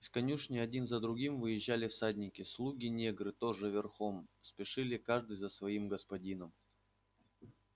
из конюшни один за другим выезжали всадники слуги-негры тоже верхом спешили каждый за своим господином